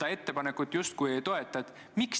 Aitäh, austatud eesistuja!